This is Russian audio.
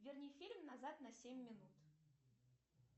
верни фильм назад на семь минут